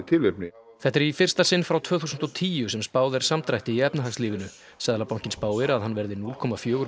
tilefni þetta er í fyrsta sinn frá tvö þúsund og tíu sem spáð er samdrætti í efnahagslífinu seðlabankinn spáir að hann verði núll komma fjögur